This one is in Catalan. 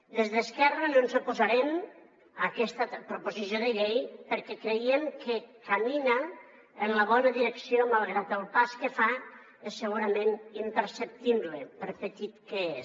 des d’esquerra no ens oposarem a aquesta proposició de llei perquè creiem que camina en la bona direcció malgrat que el pas que fa és segurament imperceptible per petit que és